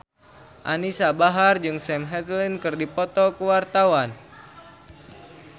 Anisa Bahar jeung Sam Hazeldine keur dipoto ku wartawan